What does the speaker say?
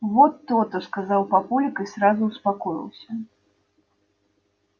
вот то-то сказал папулик и сразу успокоился